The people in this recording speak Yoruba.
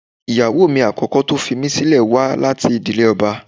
Ìyàwó mi àkọ́kọ́ tó fi mí sílẹ̀ wá láti ìdílé ọba